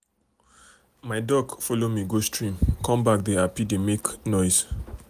my duck follow me go stream come backdey happy dey make noise.